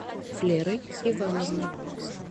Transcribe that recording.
флерой ивановной